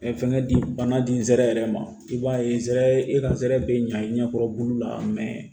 fɛnkɛ di bana di n sera yɛrɛ ma i b'a ye zɛ e ka zɛrɛ bɛ ɲa i ɲɛkɔrɔboli la